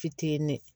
Fitinin